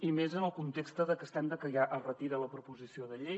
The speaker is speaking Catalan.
i més en el context que estem de que ja es retira la proposició de llei